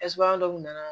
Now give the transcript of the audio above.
ɛsipeman dɔ nana